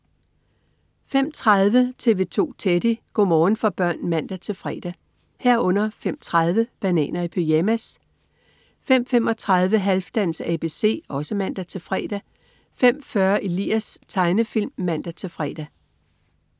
05.30 TV 2 Teddy. Go' morgen for børn (man-fre) 05.30 Bananer i pyjamas (man-fre) 05.35 Halfdans ABC (man-fre) 05.40 Elias. Tegnefilm (man-fre)